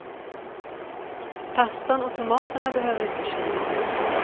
Pastan och tomaterna behöver inte kylas.